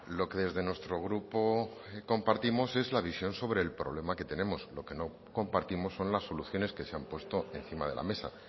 lo que desde nuestro grupo compartimos es la visión sobre el problema que tenemos lo que no compartimos son las soluciones que se han puesto encima de la mesa